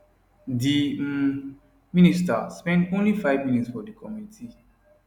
di um minister spend only five minutes for di committee